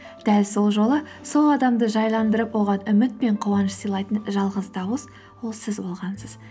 дәл сол жолы сол адамды жайландырып оған үміт пен қуаныш сыйлайтын жалғыз дауыс ол сіз болғансыз